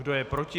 Kdo je proti?